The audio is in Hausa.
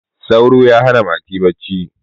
sauro ya hana mati bacci